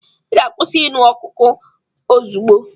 Ị ga-akwụsị ịṅụ koku ozugbo!